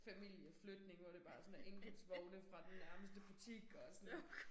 Familieflytning hvor det bare sådan er indkøbsvogne fra den nærmeste butik og sådan noget